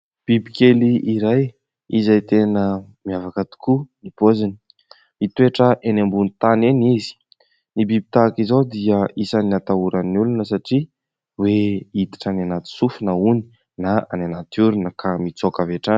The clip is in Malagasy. Biby kely iray izay tena miavaka tokoa ny "pose" mitoetra eny ambonin'ny tany eny izy ny biby tahaka izao dia isan'ny natahoran'ny olona satria hoe hiditra any anaty sofina hono na any anaty orona ka mitsoaka avy hatrany